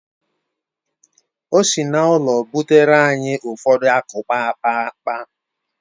O si n’ụlọ butere anyị ụfọdụ akukpaakpa